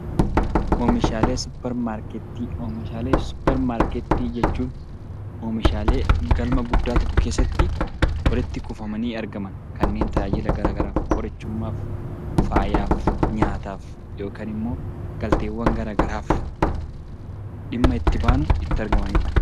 Oomishaalee suuparmaarketii jechuun oomishaalee galma guddaa tokko keessatti walitti kuufamanii argaman kanneen tajaajila gara garaaf qorichummaaf, faayaaf, nyaataaf yookaan immoo galteewwan gara garaaf dhimma itti baanu itti argamanidha.